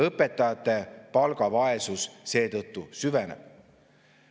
Õpetajate palgavaesus seetõttu süveneb.